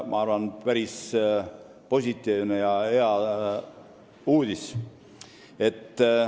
Ma arvan, et see on päris positiivne ja hea uudis.